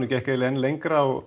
gekk eiginlega enn lengra og